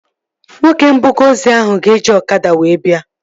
Nwoke mbuga ozi ahụ ga-eji ọkada wee bịa